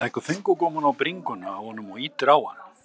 Leggur fingurgómana á bringuna á honum og ýtir á hann.